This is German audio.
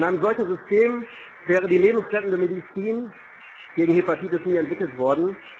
In einem solchen System wäre die lebensrettende Medizin gegen Hepatitis nie entwickelt worden.